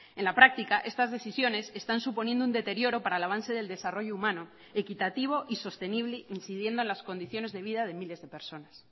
en la práctica estas decisiones están suponiendo un deterioro para el avance del desarrollo humano equitativo y sostenible incidiendo en las condiciones de vida de miles de personas